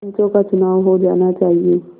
पंचों का चुनाव हो जाना चाहिए